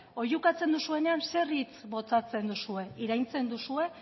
oihukatzen duzuenean zer hitz botatzen duzue iraintzen duzue